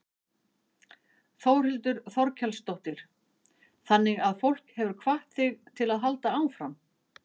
Þórhildur Þorkelsdóttir: Þannig að fólk hefur hvatt þig til að halda áfram?